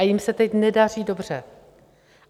A jim se teď nedaří dobře.